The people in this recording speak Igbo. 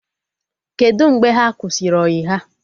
Kedụ mgbe ha kwụsịrị ọyị ha?